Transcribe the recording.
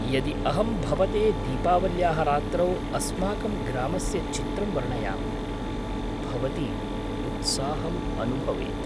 यदि अहं भवते दीपावल्याः रात्रौ अस्माकं ग्रामस्य चित्रं वर्णयामि, भवती उत्साहम् अनुभवेत्।